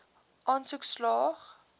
aansoek slaag